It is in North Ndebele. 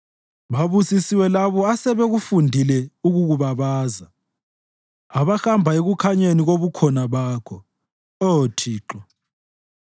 Babusisiwe labo asebekufundile ukukubabaza, abahamba ekukhanyeni kobukhona bakho, Oh Thixo.